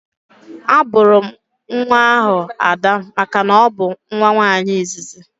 A bụrụ nwa ahụ Ada makana ọ bụ nwa nwaanyị izizi